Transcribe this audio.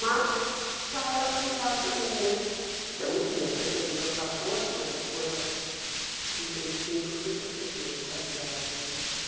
Mas já era familiar para mim né, porque eu não tinha percebido aos quatorze, mas depois aos trinta e cinco eu fui perceber a qualidade né mas.